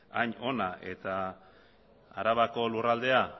hain ona eta arabako lurraldea